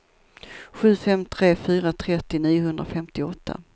sju fem tre fyra trettio niohundrafemtioåtta